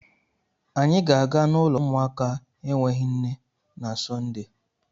Anyị ga-aga n'ụlọ ụmụaka enweghị nne na Sọnde.